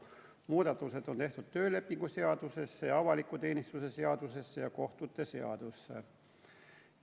Muudatused on tehtud töölepingu seaduses ja avaliku teenistuse seaduses ja kohtute seaduses.